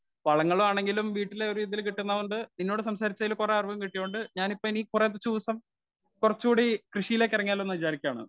speaker 1 വളങ്ങലാണെങ്കിലും വീട്ടിലെ ഒരിത്തിൽ കിട്ടുന്നൊണ്ട് നിന്നോട് സംസാരിച്ചതിൽ കുറെ അറിവും കിട്ടിയൊണ്ട് ഞാൻ ഇപ്പ ഇനി കുറച്ചു ദിവസം കുറച്ചൂടി കൃഷിയിലേക്ക് ഇറങ്ങിയാലോന്നു വിചാരിക്കുവാണ്